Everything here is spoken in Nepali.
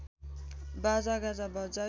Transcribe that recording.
बाजागाजा बजाई